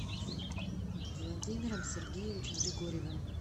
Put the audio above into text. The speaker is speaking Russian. владимиром сергеевичем григорьевым